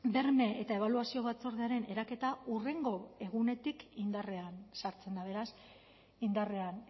berme eta ebaluazio batzordearen eraketa hurrengo egunetik indarrean sartzen da beraz indarrean